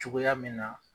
Cogoya min na